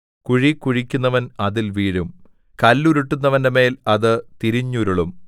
കുഴി കുഴിക്കുന്നവൻ അതിൽ വീഴും കല്ലുരുട്ടുന്നവന്റെമേൽ അത് തിരിഞ്ഞുരുളും